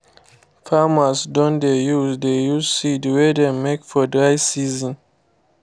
farmers don dey use dey use seed wey dem make for dry season